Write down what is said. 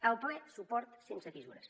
el ple suport sense fissures